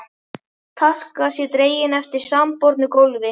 taska sé dregin eftir sandbornu gólfi.